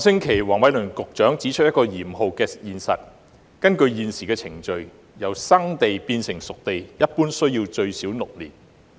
黃偉綸局長上星期指出了一個嚴酷的現實，就是根據現行程序，由"生地"變成"熟地"一般需時最少6年。